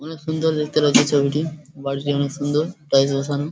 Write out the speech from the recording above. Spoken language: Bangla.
অনেক সুন্দর দেখতে লাগছে ছবিটি বাড়িটি অনেক সুন্দর টাইলস বসানো ।